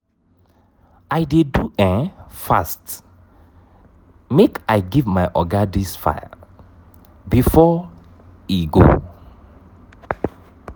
i dey do um fast make i give my oga dis file before he go. um